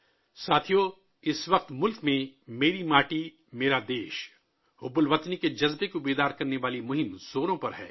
ساتھیو ، اس وقت ملک میں حب الوطنی کے جذبے 'میری مٹی، میرا دیش' کو بیدار کرنے کی مہم زوروں پر ہے